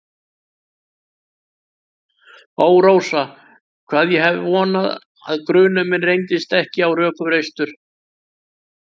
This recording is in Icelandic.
Ó, Rósa, hvað ég hef vonað að grunur minn reyndist ekki á rökum reistur.